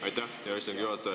Aitäh, hea istungi juhataja!